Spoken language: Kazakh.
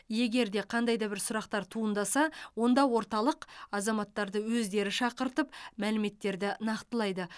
егер де қандай да бір сұрақтар туындаса онда орталық азаматтарды өздері шақыртып мәліметтерді нақтылайды